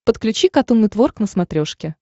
подключи катун нетворк на смотрешке